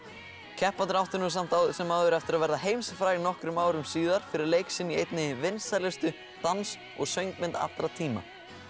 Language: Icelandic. keppendur áttu samt sem áður eftir að verða heimsfrægir nokkrum árum síðar fyrir leik sinn í einni vinsælustu dans og söngmynd allra tíma